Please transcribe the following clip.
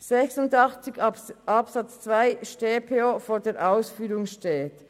286 Absatz 2 StPO vor der Ausführung steht.